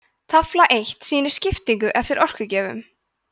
tafla eitt sýnir skiptinguna eftir orkugjöfum